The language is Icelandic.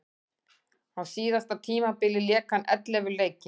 Á síðasta tímabili lék hann ellefu leiki.